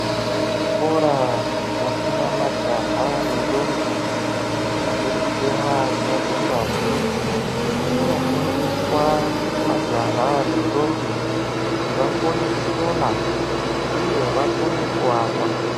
Kuzvikora zvinofunda majaha nendombi, vachiri kutemwa dzinobve ngazi ,kunofundiswa majaha nendombi ,kuti vakone kusona uye vakone kuaka.